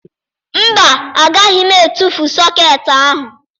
Mba, agaghị m etufu sọkeetị ahụ